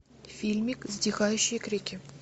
фильмик затихающие крики